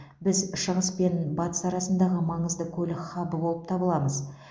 біз шығыс пен батыс арасындағы маңызды көлік хабы болып табыламыз